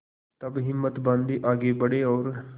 तब हिम्मत बॉँधी आगे बड़े और